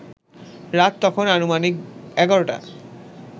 রাত তখন আনুমানিক ১১টা